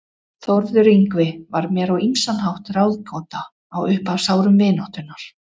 Þórður Yngvi var mér á ýmsan hátt ráðgáta á upphafsárum vináttunnar.